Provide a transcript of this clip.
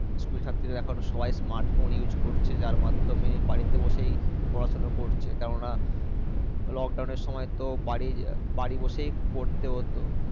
school ছাত্রীরা এখন সবাই Smart phone use করছে যাই মাধ্যমে বাড়িতে বসে পড়াশুনা করছে কেন না Lockdown এর সময় তো বাড়ি বাড়ি বসে পড়তে হত।